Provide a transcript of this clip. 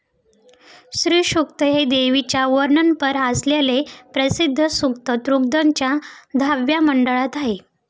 श्रीसूक्त हे देवीच्या वर्णनपर असलेले प्रसिद्ध सूक्त ऋग्वेदाच्या दहाव्या मंडळात आहे.